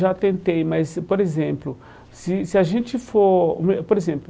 Já tentei, mas, por exemplo, se se a gente for por exemplo